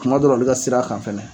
Kuma dɔra olu ka sira kan fana.